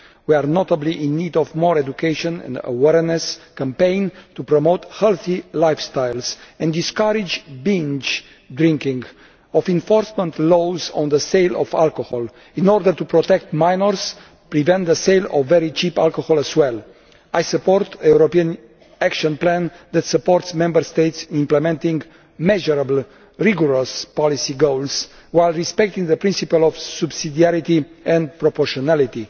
In particular we are in need of more education and an awareness campaign to promote healthy lifestyles and discourage binge drinking, and of enforcement laws on the sale of alcohol in order to protect minors and prevent the sale of very cheap alcohol as well. I support a European action plan that supports Member States implementing measurable, rigorous policy goals while respecting the principles of subsidiarity and proportionality.